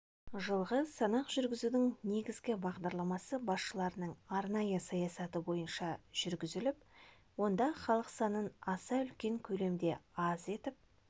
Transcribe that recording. жылғы санақ жүргізудің негізгі бағдарламасы басшыларының арнайы саясаты бойынша жүргізіліп онда халық санын аса үлкен көлемде аз етіп